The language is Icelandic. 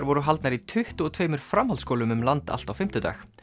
voru haldnar í tuttugu og tveimur framhaldsskólum um land allt á fimmtudag